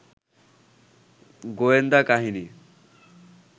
গোয়েন্দা কাহিনী